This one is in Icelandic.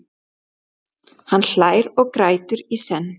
Hann hlær og grætur í senn.